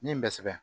Min bɛ sɛbɛn